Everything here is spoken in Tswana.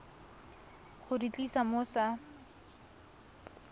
go di tlisa mo sa